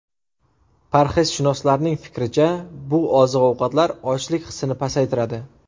Parhezshunoslarning fikricha, bu oziq-ovqatlar ochlik hissini pasaytiradi.